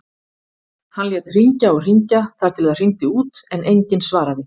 Hann lét hringja og hringja þar til það hringdi út en enginn svaraði.